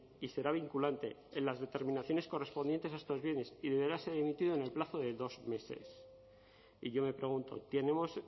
y será vinculante en las determinaciones correspondientes a estos bienes y deberá ser emitido en el plazo de dos meses y yo me pregunto tenemos